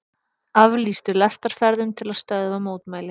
Aflýstu lestarferðum til að stöðva mótmæli